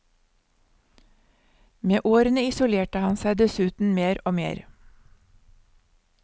Med årene isolerte han seg dessuten mer og mer.